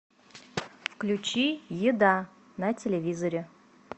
включи еда на телевизоре